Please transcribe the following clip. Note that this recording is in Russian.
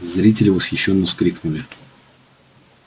зрители восхищённо вскрикнули